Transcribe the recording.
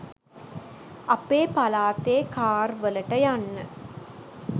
අපේ පලාතේ කාර් වලට යන්න